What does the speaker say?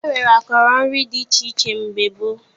E nwere akọrọ nri dị iche iche dị mgbe gboo